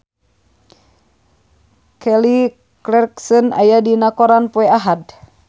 Kelly Clarkson aya dina koran poe Ahad